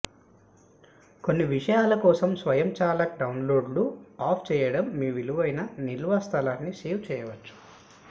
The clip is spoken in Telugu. కొన్ని విషయాల కోసం స్వయంచాలక డౌన్లోడ్లను ఆఫ్ చేయడం మీ విలువైన నిల్వ స్థలాన్ని సేవ్ చేయవచ్చు